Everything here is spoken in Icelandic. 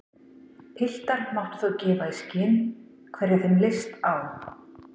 Piltar máttu þá gefa í skyn hverja þeim leist á.